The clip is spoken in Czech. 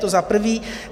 To za prvé.